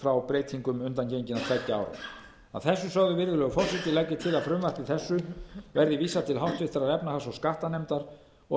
frá breytingum undangenginna tveggja ára að þessu sögðu virðulegi forseti legg ég til að frumvarpi þessu verði vísað til háttvirtrar efnahags og skattanefndar og